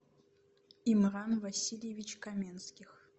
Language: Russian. имран васильевич каменских